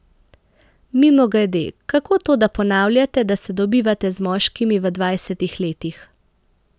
Mimogrede, kako to, da ponavljate, da se dobivate z moškimi v dvajsetih letih?